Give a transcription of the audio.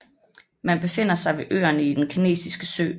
Man befinder sig ved øerne i den kinesiske sø